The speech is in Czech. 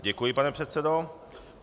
Děkuji, pane předsedo.